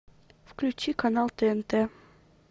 включи канал тнт